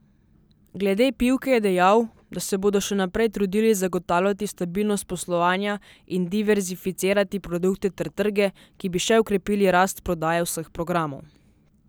Glede Pivke je dejal, da se bodo še naprej trudili zagotavljati stabilnost poslovanja in diverzificirati produkte ter trge, ki bi še okrepili rast prodaje vseh programov.